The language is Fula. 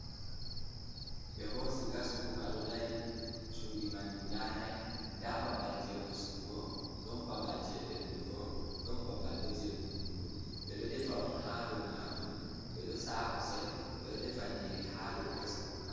Ɓe hosi gas kuka ɗo dari cuɗi man guda nay. Nda babal je ustugo, ɗon babal je ɓeddugo ɗon babal bo je kunnugo. Ɓe ɗo defa on ha do majum, ɓeɗo sa’a kusel ɓeɗo defa nyiri ha do gas kukaa.